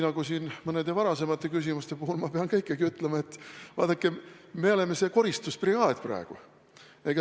Nagu mõne varasema küsimuse puhul, pean ma teilegi ütlema, et vaadake, me oleme praegu koristusbrigaad.